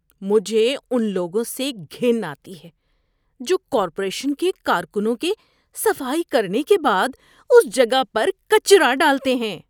مجھے ان لوگوں سے گھن آتی ہے جو کارپوریشن کے کارکنوں کے صفائی کرنے کے بعد اس جگہ پر کچرا ڈالتے ہیں۔